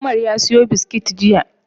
Umar ya siyo biskit jiya.